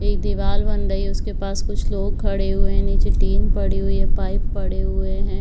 एक दीवाल बन रही है उसके पास कुछ लोग खड़े हुए हैं नीचे टीन पड़ी हुई है पाइप पड़े हुए हैं।